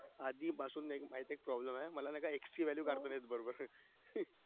आधी पासून problem आहे मला ना x ची काढता येत नाय बरोबर